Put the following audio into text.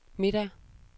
middag